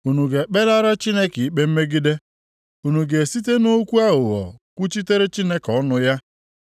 Unu ga-ekpelara Chineke ikpe mmegide? Unu ga-esite nʼokwu aghụghọ kwuchitere Chineke ọnụ ya?